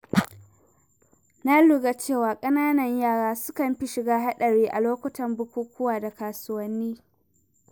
Na lura cewa ƙananan yara sukan fi shiga haɗari a lokutan bukukuwa da kasuwanni.